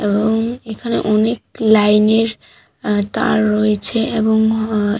এ- এবং এখানে অনেক লাইন - এর আ তার রয়েছে এবং অ--